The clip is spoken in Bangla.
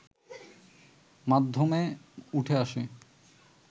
মাধ্যমে উঠে আসে